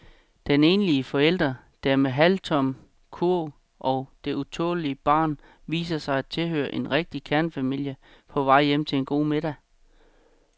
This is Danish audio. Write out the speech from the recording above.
Den enlige forælder med den halvtomme kurv og det utålmodige barn viser sig at tilhøre en rigtig kernefamilie på vej hjem til en god middag.